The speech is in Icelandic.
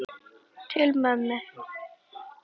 Til mömmu.